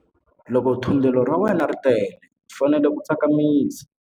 Loko thundelo ra wena ri tele u fanele ku tsakamisa.